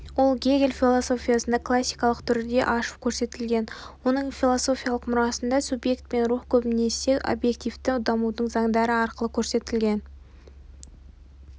ол гегель философиясында классикалық түрде ашып көрсетілген оның философиялық мұрасында субъект пен рух көбінесе объективтік дамудың заңдары арқылы көрсетілген